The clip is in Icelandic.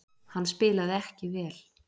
Hann spilaði ekki vel.